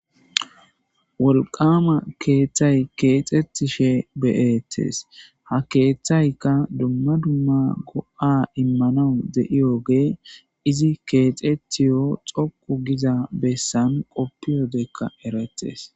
wolqama keeththay keexetishe beyettes ha keeththaykka dumma dumma go7a immanawu de7iyoge izi keexetiyo xoqu giza bessan qoppiodekka eretes